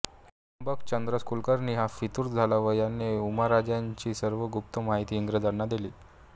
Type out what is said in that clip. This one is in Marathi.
त्र्यंबक चंद्रस कुलकर्णी हा फितूर झाला व याने उमाजींराजेंची सर्व गुप्त माहिती इंग्रजांना दिली